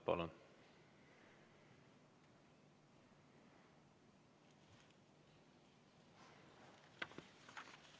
Palun!